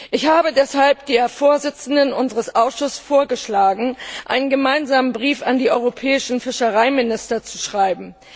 Ich habe deshalb der Vorsitzenden unseres Ausschusses vorgeschlagen, einen gemeinsamen Brief an die europäischen Fischereiminister zu schreiben.